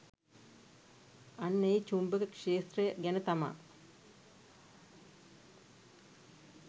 අන්න ඒ චුම්භක ක්ෂේත්‍රය ගැන තමා